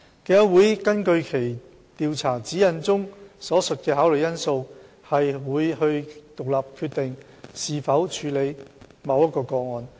競委會根據其《調查指引》中所述的考慮因素，會獨立決定是否處理某一個案。